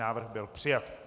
Návrh byl přijat.